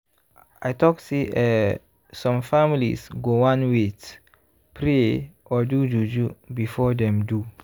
i talk say eeh some families go wan wait- pray or do juju before dem do